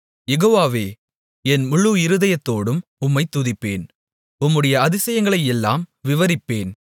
யெகோவாவே என் முழு இருதயத்தோடும் உம்மைத் துதிப்பேன் உம்முடைய அதிசயங்களையெல்லாம் விவரிப்பேன்